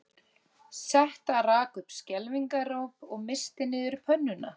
Setta rak upp skelfingaróp og missti niður pönnuna